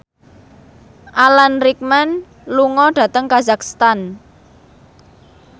Alan Rickman lunga dhateng kazakhstan